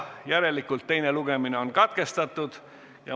Järelikult teine lugemine on katkestatud.